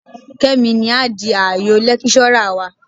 Kẹ́mi ni á di ààyọ̀ lẹ́kíṣọ́rà wa